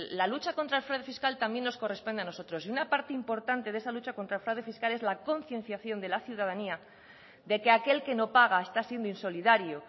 la lucha contra el fraude fiscal también nos corresponde a nosotros y una parte importante de esa lucha contra el fraude fiscal es la concienciación de la ciudadanía de que aquel que no paga está siendo insolidario